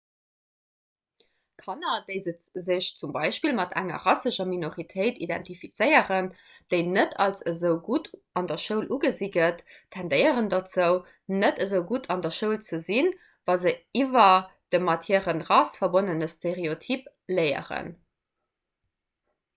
kanner déi sech zum beispill mat enger rassescher minoritéit identifizéieren déi net als esou gutt an der schoul ugesi gëtt tendéieren dozou net esou gutt an der schoul ze sinn wa se iwwer de mat hirer rass verbonnene stereotyp léieren